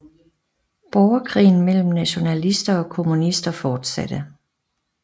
Borgerkrigen mellem nationalister og kommunister fortsatte